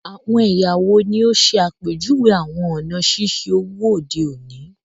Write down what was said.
Awọn ẹya wo ni o ṣe apejuwe awọn ọna ṣiṣe owo ode oni?